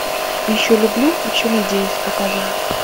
еще люблю еще надеюсь показывай